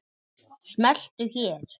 Smelltu hér.